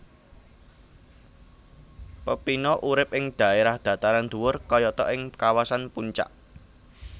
Pepino urip ing dhaerah dhataran dhuwur kayata ing kawasan Puncak